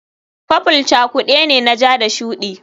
Purple cakude ne na ja da shuɗi